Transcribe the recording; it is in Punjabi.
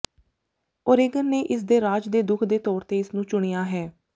ਓਰੇਗਨ ਨੇ ਇਸ ਦੇ ਰਾਜ ਦੇ ਰੁੱਖ ਦੇ ਤੌਰ ਤੇ ਇਸ ਨੂੰ ਚੁਣਿਆ ਹੈ